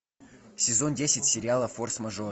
сезон десять сериала форс мажор